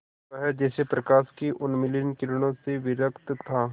वह जैसे प्रकाश की उन्मलिन किरणों से विरक्त था